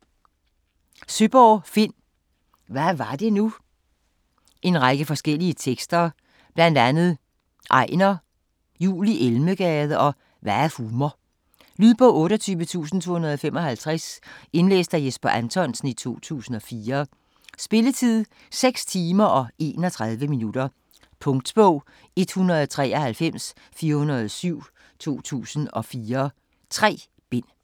Søeborg, Finn: Hvad var det nu En række forskellige tekster. Blandt andet Ejner, Jul i Elmegade og Hvad er humor. Lydbog 28255 Indlæst af Jesper Anthonsen, 2004. Spilletid: 6 timer, 31 minutter. Punktbog 193407 2004. 3 bind.